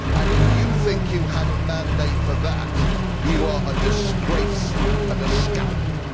If you think you have a mandate for that, you are a disgrace and a scoundrel.